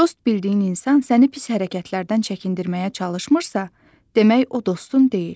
Dost bildiyin insan səni pis hərəkətlərdən çəkindirməyə çalışmırsa, demək o dostun deyil.